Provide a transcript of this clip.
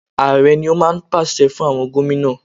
Ààrẹ ni ó máa ń pàṣẹ fún àwọn Gómìnà.